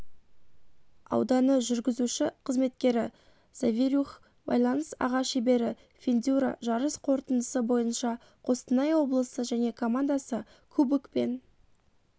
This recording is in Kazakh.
ауданы жүргізуші-қызметкері завирюх байланыс аға шебері фендюра жарыс қорытындысы бойынша қостанай облысы және командасы кубокпен